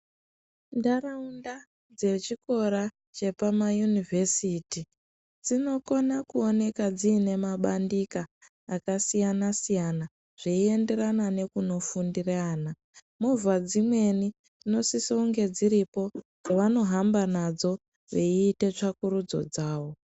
Ndarawunda dzechikora dzepama yunivesiti, dzinokona kuwoneka dzinemabandika akasiyana siyana , zveyenderana nekunofunde vana. Mova dzimweni dzinosise kunge dziripo, dzavanohamba nadzo, veyite tsvakurudzo dzavo.